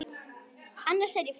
Annars er ég fín.